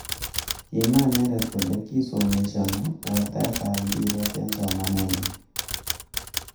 Kimwa inendet kole kisomeshano wortaet ab mpiret eng somanennyu.